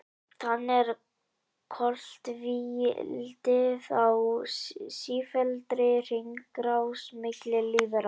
Þannig er koltvíildið á sífelldri hringrás milli lífvera.